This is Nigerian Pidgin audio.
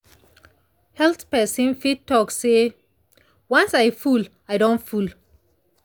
health person fit talk say “once i full i don full.”